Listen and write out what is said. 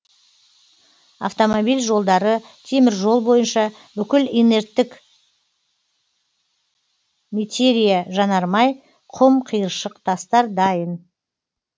автомобиль жолдары теміржол бойынша бүкіл инерттік метериа жанармай құм қиыршық тастар дайын